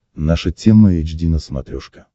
наша тема эйч ди на смотрешке